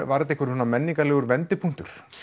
var þetta menningarlegur vendipunktur